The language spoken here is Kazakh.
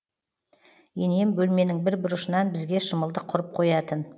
енем бөлменің бір бұрышынан бізге шымылдық құрып қоятын